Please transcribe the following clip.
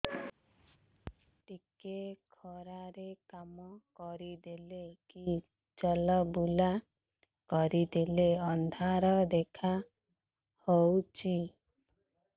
ଟିକେ ଖରା ରେ କାମ କରିଦେଲେ କି ଚଲବୁଲା କରିଦେଲେ ଅନ୍ଧାର ଦେଖା ହଉଚି